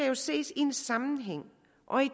jo ses i en sammenhæng